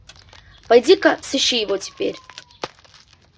пойди ка сыщи его теперь